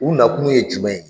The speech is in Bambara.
U na kun ye jumɛn ye.